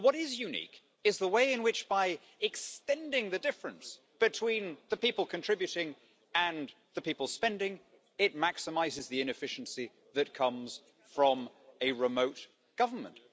But what is unique is the way in which, by extending the difference between the people contributing and the people spending, it maximises the inefficiency that comes from a remote government.